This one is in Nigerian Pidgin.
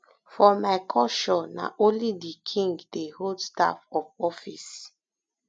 for my culture na only di king dey hold staff of office